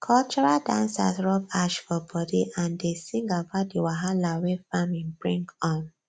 cultural dancers rub ash for body and dey sing about the wahala wey farming bring um